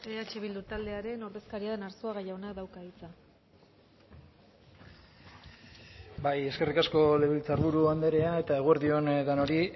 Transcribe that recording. eh bildu taldearen ordezkaria den arzuaga jaunak dauka hitza bai eskerrik asko legebiltzarburu anderea eta eguerdi on denoi